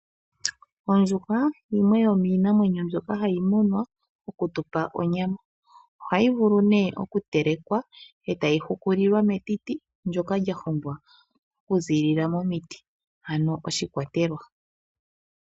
Ondjuhwa yimwe yominamwenyo mbyoka hayi munwa okutupa onyama. Ohayi vulu oku telekwa etayi hukulilwa metiti ndyoka lya hongwa oku ziilila momiti ano oshikwatelwa.